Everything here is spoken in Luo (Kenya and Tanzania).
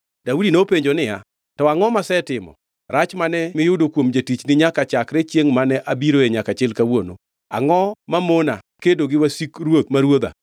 Daudi nopenjo niya, “To angʼo masetimo? Rach mane miyudo kuom jatichni nyaka chakre chiengʼ mane abiroe nyaka chil kawuono? Angʼo mamona kedo gi wasik ruoth ma ruodha?”